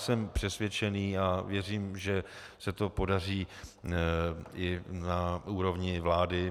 Jsem přesvědčený a věřím, že se to podaří i na úrovni vlády.